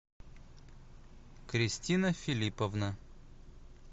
кристина филипповна